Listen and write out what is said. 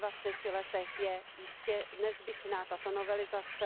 Po dvaceti letech je jistě nezbytná tato novelizace.